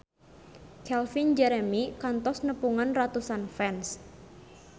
Calvin Jeremy kantos nepungan ratusan fans